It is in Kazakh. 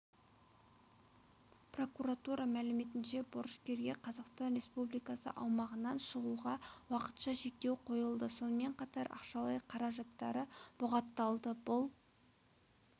прокуратура мәліметінше борышкерге қазақстан республикасы аумағынан шығуға уақытша шектеу қойылды сонымен қатар ақшалай қаражаттары бұғатталды бұл